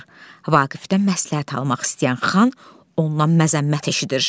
Vaqifdən məsləhət almaq istəyən xan ondan məzəmmət eşidir.